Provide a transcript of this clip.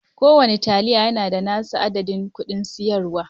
Kowane taliya yana da nasa adadin kudin siyarwa.